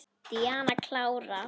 Díana klára.